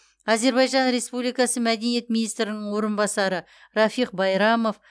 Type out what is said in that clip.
әзербайжан республикасы мәдениет министрінің орынбасары рафиг байрамов